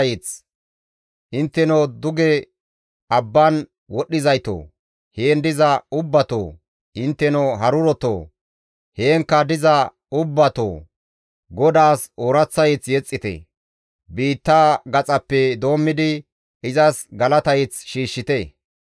Intteno duge abban wodhdhizaytoo, heen diza ubbatoo! Intteno harurotoo! Heenkka diza ubbatoo! GODAASSI ooraththa mazamure yexxite; biittaa gaxaappe doommidi izas galata mazamure shiishshite.